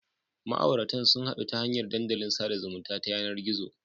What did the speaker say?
Ma'auratan sun hadu ta hanyar dandalin sada zumunta ta yanar gizo.